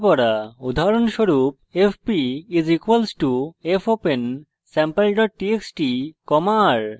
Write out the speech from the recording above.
উদাহরণস্বরূপ fp = fopensampletxt r;